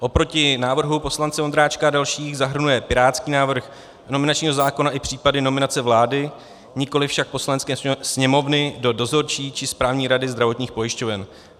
Oproti návrhu poslance Vondráčka a dalších zahrnuje pirátský návrh nominačního zákona i případy nominace vlády, nikoli však Poslanecké sněmovny, do dozorčí či správní rady zdravotních pojišťoven.